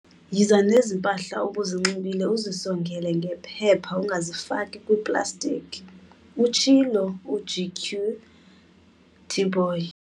"Yiza nezi mpahla ubuzinxibile uzisongele ngephepha, ungazifaki kwiplastiki," utshilo uGq Tipoy.